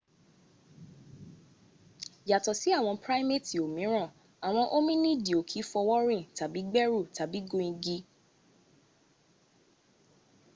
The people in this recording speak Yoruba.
yàtọ̀ sí àwọn primeeti òmíràn àwọn ominiidi o ki fọwọ́ rìn tàbí gbẹ́rù tàbí gun igi